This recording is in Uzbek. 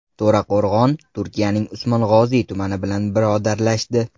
To‘raqo‘rg‘on Turkiyaning Usmong‘oziy tumani bilan birodarlashdi.